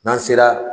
N'an sera